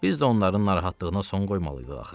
Biz də onların narahatlığına son qoymalıydıq axı.